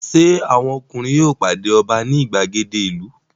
Ṣé àwọn ọkùnrin yóò pàdé ọba ní ìgbàgede ìlú?